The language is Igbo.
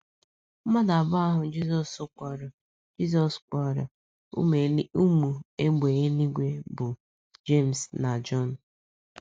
Mmadụ abụọ ahụ Jizọs kpọrọ Jizọs kpọrọ “ Ụmụ Égbè Eluigwe ” bụ Jems na Jọn.